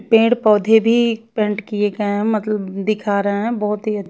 पेड़ पौधे भी पेंट किए का मतलब दिखा रहे हैं बहोत ही--